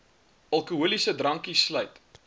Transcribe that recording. alkoholiese drankies sluit